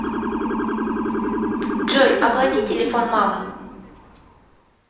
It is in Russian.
джой оплати телефон мамы